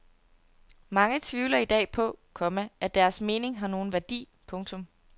Mange tvivler i dag på, komma at deres mening har nogen værdi. punktum